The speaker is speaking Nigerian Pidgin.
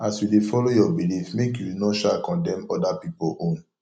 as yu dey follow yur belief make yu no sha condemn oda pipol own